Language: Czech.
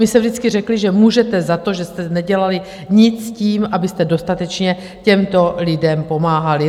My jsme vždycky řekli, že můžete za to, že jste nedělali nic tím, abyste dostatečně těmto lidem pomáhali.